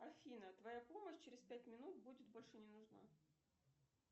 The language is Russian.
афина твоя помощь через пять минут будет больше не нужна